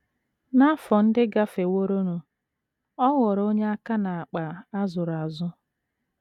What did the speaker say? N’afọ ndị gafeworonụ, ọ ghọrọ onye aka n’akpa a zụrụ azụ.